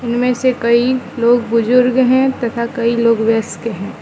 इनमें से कई लोग बुर्जुग हैं तथा कई लोग व्यस्क हैं।